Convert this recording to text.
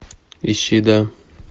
ищи да